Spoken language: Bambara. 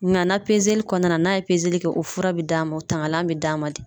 na kɔnɔna na n'a ye kɛ o fura bi d'a ma o tangalan bɛ d'a ma de.